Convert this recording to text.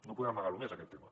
no podem amagar lo més aquest tema